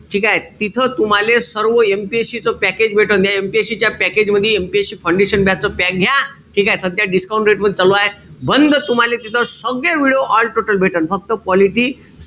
ठीकेय? तिथं तुम्हाले सर्व MPSC च package. अन या MPSC च्या package मधी MPSC foundation batch च package घ्या. ठीकेय? सध्या discount rate वर चालूय. बंध तुम्हाला तिथे सगळे video all total भेटन. फक्त politics,